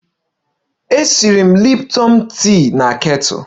M na-esi nri Lipton tii na kettle